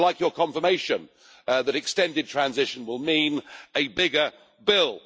I would like your confirmation that extended transition will mean a bigger bill.